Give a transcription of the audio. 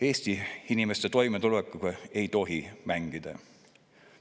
Eesti inimeste toimetulekuga ei tohi mängida.